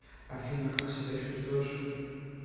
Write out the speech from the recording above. афина как себя чувствуешь